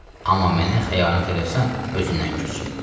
Amma mənə xəyanət eləsən özündən küs.